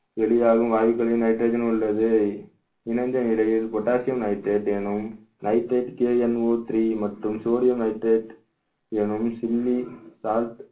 வெளியாகும் வாயுக்களையும் nitrogen உள்ளது இணைந்த நிலையில் potassium nitrate எனும் nitrateKNOthree மற்றும் sodium nitrate எனும்